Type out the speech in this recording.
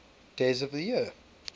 days of the year